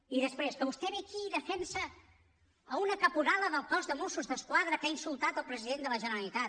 i després que vostè ve aquí i defensa una caporala del cos de mossos d’esquadra que ha insultat el president de la generalitat